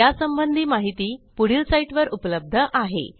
यासंबंधी माहिती पुढील साईटवर उपलब्ध आहे